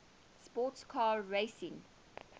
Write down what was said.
sports car racing